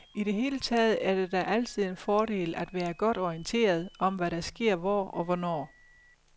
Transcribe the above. I det hele taget er det da altid en fordel at være godt orienteret, om hvad der sker hvor og hvornår.